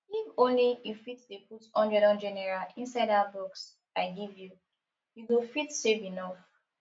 if ony you fit dey put hundred hundred naira inside dat box i give you you go fit save enough